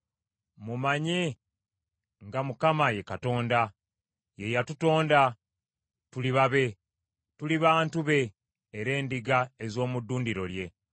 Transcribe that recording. Mumanye nga Mukama ye Katonda; ye yatutonda, tuli babe, tuli bantu be era endiga ez’omu ddundiro lye.